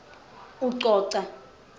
ucoca